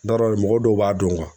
Da dɔw b'a dɔn